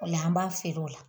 O la an b'a feere o la.